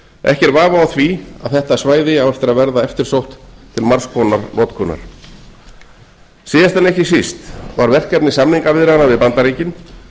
ekki er vafi á því að þetta svæði á eftir að verða eftirsótt til margs konar notkunar síðast en ekki síst var verkefni samningaviðræðna við bandaríkin